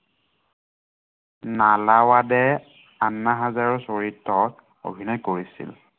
নালাৱাডে, আন্না হাজাৰেৰ চৰিত্ৰত অভিনয় কৰিছিল।